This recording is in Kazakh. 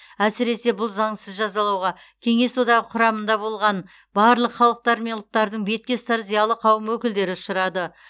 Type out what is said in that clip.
әсіресе бұл заңсыз жазалауға кеңес одағы құрамында болған барлық халықтар мен ұлттардың бетке ұстар зиялы қауым өкілдері ұшырады